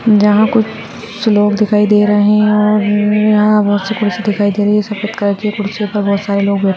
यहां कुछ लोग दिखाई दे रहे है और यहां पर बहुत सी कुर्सी दिखाई दे रही है सफ़ेद कलर की कुर्सी पर बहुत सारे लोग बैठे --